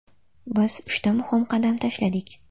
Biz uchta muhim qadam tashladik.